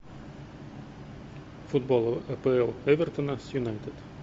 футбол апл эвертона с юнайтед